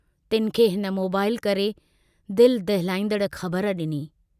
तिन खे हिन मोबाईल करे दिल दहलाईंदड़ ख़बर डिनी।